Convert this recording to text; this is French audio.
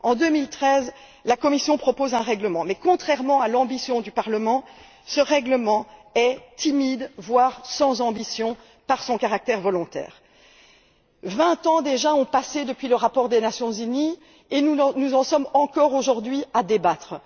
En 2013, la Commission propose un règlement mais, contrairement à l'ambition du Parlement, ce règlement est timide, voire sans ambition, par son caractère volontaire. Vingt ans déjà ont passé depuis le rapport des Nations unies, et nous en sommes encore aujourd'hui à débattre.